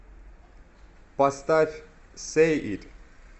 поставь сэй ит